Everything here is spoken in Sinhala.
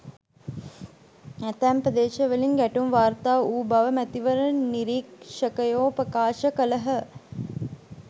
ඇතැම් ප්‍රදේශවලින් ගැටුම් වාර්තා වූ බව මැතිවරණ නිරීක්ෂකයෝ ප්‍රකාශ කළහ.